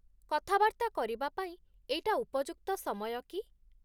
କଥାବାର୍ତ୍ତା କରିବା ପାଇଁ ଏଇଟା ଉପଯୁକ୍ତ ସମୟ କି?